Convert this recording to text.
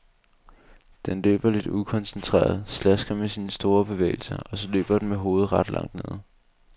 Den løber lidt ukoncentreret, slasker med sine store bevægelser, og så løber den med hovedet ret langt nede.